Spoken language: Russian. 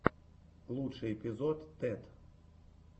лучший эпизод тед